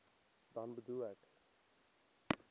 dan bedoel ek